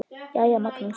Jæja, Magnús.